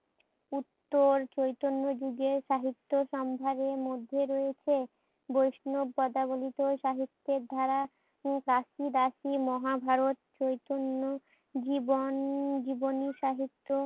উত্তর চৈতন্য যুগের সাহিত্য সম্ভারের মধ্যে রয়েছে। বৈষ্ণব পদাবলীতে সাহিত্যের ধারা রাশি রাশি মহাভারত চৈতন্য জীবন জীবনী সাহিত্য